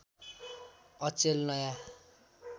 अचेल नयाँ